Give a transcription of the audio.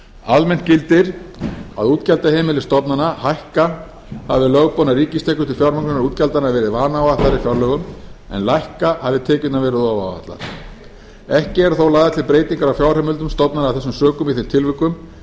almennt gildir að útgjaldaheimildir stofnana hækka hafi lögboðnar ríkistekjur til fjármálaútgjaldanna verið vanáætlaðar í fjárlögum en lækka hafi tekjurnar verið ofáætlaðar ekki eru þó lagðar til breytingar á fjárheimildum stofnana af þessum sökum í þeim tilvikum